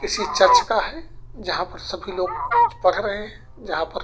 किसी चर्च का है जहाँ पर सभी लोग कुछ पढ़ रहे हैं जहाँ पर --